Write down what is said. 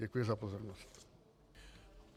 Děkuji za pozornost.